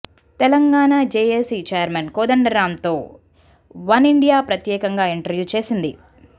Telangana JAC chairman Kodandaram తో one India ప్రత్యేకంగా interview చేసింది